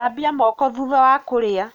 Thambia moko thutha wa kũrĩa.